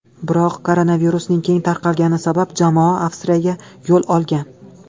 Biroq koronavirusning keng tarqalgani sabab, jamoa Avstriyaga yo‘l olgan.